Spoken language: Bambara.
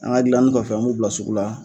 An ga gilanni kɔfɛ an b'u bila sugu la